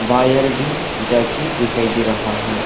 Wire भी जाके दिखाई दे रहा है।